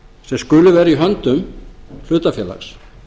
sem skuli vera í höndum hlutafélags